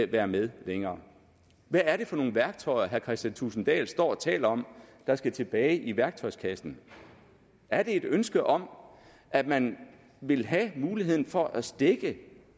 være med længere hvad er det for nogle værktøjer herre kristian thulesen dahl står og taler om der skal tilbage i værktøjskassen er det et ønske om at man vil have muligheden for at stække